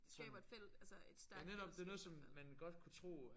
Det skaber et felt altså et stærkt fællesskab hvert fald